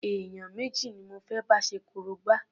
Èèyàn méjì ni mo fé bá ṣe korobá.